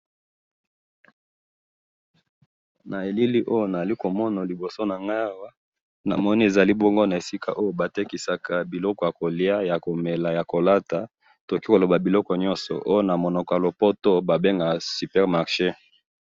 na elili oyo nazali komona liboso nanga awa namoni ezali bongo na esikaoyo batekisaka biloko ya koliya ya komela naya kolata biloko nyonso oyo ba bengaka na munoko ya lopoto super marche.